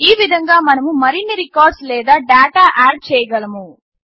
ఈ విధంగా మనము మరిన్ని రికార్డ్స్ లేదా డాటా ఆడ్ చేయగలము